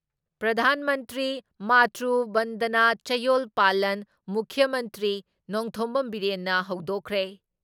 ꯄ꯭ꯔꯙꯥꯟ ꯃꯟꯇ꯭ꯔꯤ ꯃꯥꯇ꯭ꯔꯨ ꯕꯟꯗꯅ ꯆꯌꯣꯜ ꯄꯥꯂꯟ ꯃꯨꯈ꯭ꯌ ꯃꯟꯇ꯭ꯔꯤ ꯅꯣꯡꯊꯣꯝꯕꯝ ꯕꯤꯔꯦꯟꯅ ꯍꯧꯗꯣꯛꯈ꯭ꯔꯦ ꯫